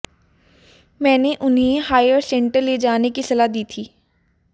मैंने उन्हें higher centre ले जाने की सलाह दी थी